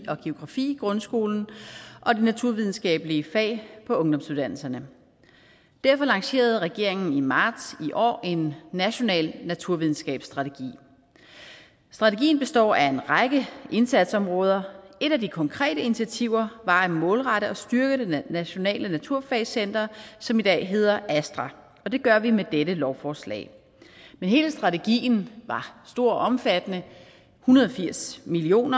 og geografi i grundskolen og de naturvidenskabelige fag på ungdomsuddannelserne derfor lancerede regeringen i marts i år en national naturvidenskabsstrategi strategien består af en række indsatsområder et af de konkrete initiativer var at målrette og styrke det nationale naturfagscenter som i dag hedder astra og det gør vi med dette lovforslag men hele strategien var stor og omfattende en hundrede og firs million